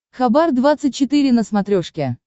хабар двадцать четыре на смотрешке